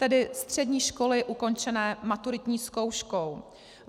Tedy střední školy ukončené maturitní zkouškou.